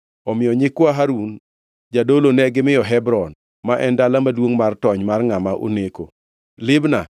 Omiyo nyikwa Harun jadolo negimiyo Hebron (ma en dala maduongʼ mar tony mar ngʼama oneko), Libna,